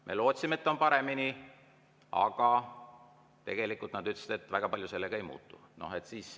Me lootsime, et on paremini, aga nad ütlesid, et väga palju sellega ei muutu.